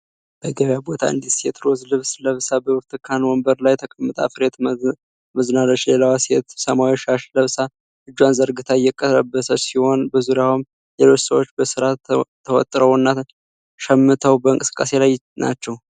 በገበያ ቦታ አንዲት ሴት ሮዝ ልብስ ለብሳ በብርቱካን ወንበር ላይ ተቀምጣ ፍሬ ትመዝናለች። ሌላዋ ሴት ሰማያዊ ሻሽ ለብሳ እጇን ዘርግታ እየተቀበለች ሲሆን፣ በዙሪያውም ሌሎች ሰዎች በሥራ ተወጥረውና ሸምተው በእንቅስቃሴ ላይ ናቸው።